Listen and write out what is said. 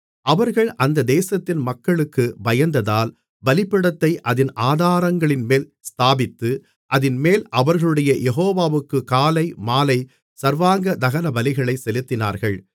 அவர்கள் அந்த தேசத்தின் மக்களுக்கு பயந்ததால் பலிபீடத்தை அதின் ஆதாரங்களின்மேல் ஸ்தாபித்து அதின்மேல் அவர்களுடைய யெகோவாவுக்கு காலை மாலை சர்வாங்க தகனபலிகளைச் செலுத்தினார்கள்